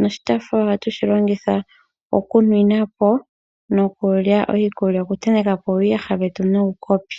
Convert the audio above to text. noshotaafula ohashi longithwa oku nwinapo nokutentekapo uuyaha nuukopi.